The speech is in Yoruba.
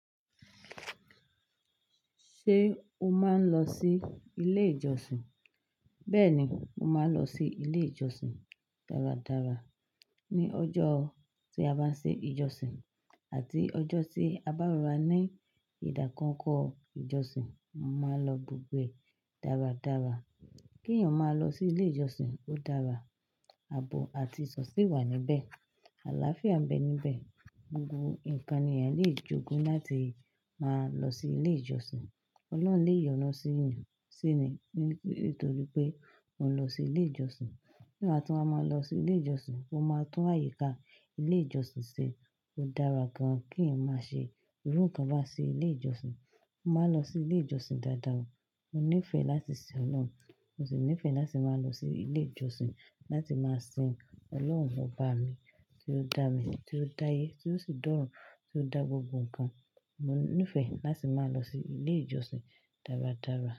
Ṣé o máa ń lọ sí ilé ìjọsìn? Bẹ́ẹ̀ni, mo máa ń lọ sí ilé ìjọsìn dáradára ní ọjọ́ tí a bá ń ṣe ìjọsìn àti ọjọ́ tí a bá rò rá ní ìdákọkọ ìjọsìn. Mo máa ń lọ gbogbo e dáradára. Kí èèyàn máa lọ sí ilé ìjọsìn ó dára. Àbò àti ìsọ̀sí wà níbẹ̀. Àlàáfíà ń bẹ níbẹ̀. Gbogbo ǹkan ni èèyàn lè jogún láti máa lọ sí ilé ìjọsìn. Ọlọ́run lè yọnu sí ẹni nítorí pé òun lọ sí ilé ìjọsìn. Nígbà tí wọ́n bá máa lọ sí ilé ìjọsìn, wọ́n máa tún àyíká ilé ìjọsìn ṣe. Ó dára gan-an kí ẹ̀yàn má ṣe irú ǹkan bá sí ilé ìjọsìn. Mo máa ń lọ sí ilé ìjọsìn dáadáa. Mo nífẹ̀ẹ́ láti sin Ọlọ́run, mo sì nífẹ̀ẹ́ láti máa lọ sí ilé ìjọsìn láti máa sin Ọlọ́run baba mi tí ó dá mi, tí ó dá ayé, tí ó sì dorun, tí ó dá gbogbo ǹkan. Mo nífẹ̀ẹ́ láti máa lọ sí ilé ìjọsìn dáradára.